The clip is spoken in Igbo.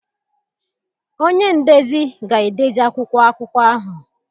Ọnye ndezi ga-edezi akwụkwọ akụko ahụ